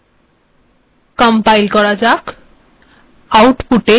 দেখা যাক কি হয়